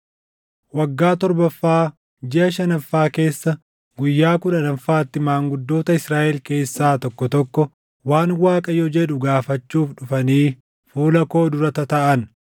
Waggaa torbaffaa, jiʼa shanaffaa keessa guyyaa kudhannaffaatti maanguddoota Israaʼel keessaa tokko tokko waan Waaqayyo jedhu gaafachuuf dhufanii fuula koo dura tataaʼan.